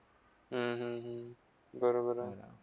हम्म हम्म हम्म बरोबर आहे